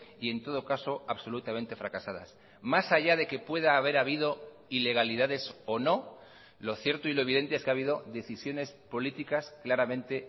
y en todo caso absolutamente fracasadas más allá de que pueda haber habido ilegalidades o no lo cierto y lo evidente es que ha habido decisiones políticas claramente